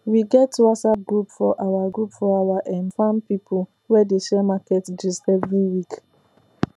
we get whatsapp group for our group for our um farm people wey dey share market gist every week